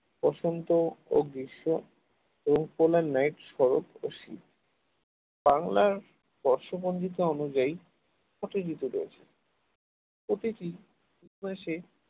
বসন্ত ও গ্রীষ্ম শরৎ ও শীত বাংলায় বর্ষপঞ্জিকা অনুযায়ী ছয়টি ঋতু রয়েছে প্রতিটি মাসে